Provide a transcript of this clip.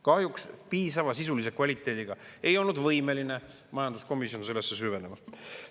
Kahjuks piisava sisulise kvaliteediga ei olnud võimeline majanduskomisjon sellesse süvenema.